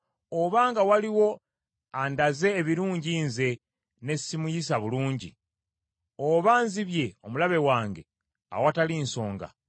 obanga waliwo andaze ebirungi nze ne si muyisa bulungi, oba nzibye omulabe wange awatali nsonga: